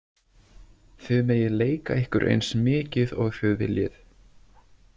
Þið megið leika ykkur eins mikið og þið viljið.